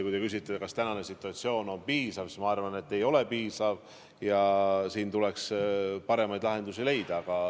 Kui te küsite, kas tänane situatsioon on piisav, siis ma arvan, et ei ole piisav ja siin tuleks paremaid lahendusi leida.